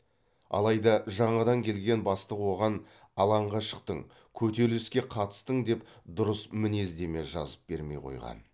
алайда жаңадан келген бастық оған алаңға шықтың көтеріліске қатыстың деп дұрыс мінездеме жазып бермей қойған